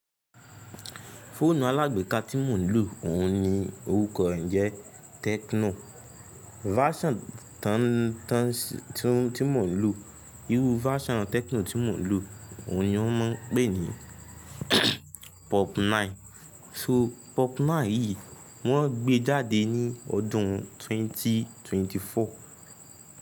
Fóònù alágbe ka tí mò ń lò, òun ni orúkọ rẹ̀ ń jẹ́ Tecno. Version tí mò ń lò, irú version Tecno tí mò ń lò òun ni wọ́n ń pè ní Pop nine. So Pop nine yìí wọ́n gbé jáde ní ọdún 2024.